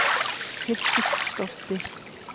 Fylltist stolti